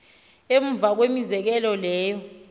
emva kwemizekelo leyo